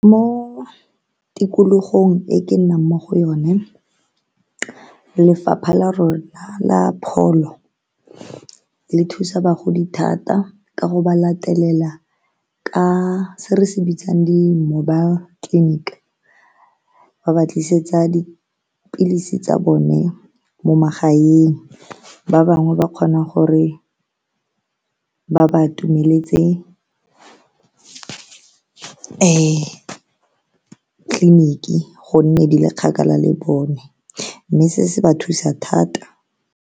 Mo tikologong e ke nnang mo go yone lefapha la rona la pholo le thusa bagodi thata ka go ba latelela ka se re se bitsang di-mobile clinic, ba ba tlisetsa dipilisi tsa bone mo magaeng, ba bangwe ba kgona gore ba ba atumeletse tleliniki gonne di le kgakala le bone mme se se ba thusa thata.